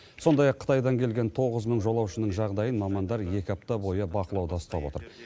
сондай ақ қытайдан келген тоғыз мың жолаушының жағдайын мамандар екі апта бойы бақылауда ұстап отыр